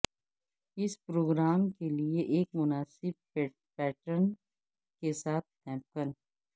اس programme کے لئے ایک مناسب پیٹرن کے ساتھ نیپکن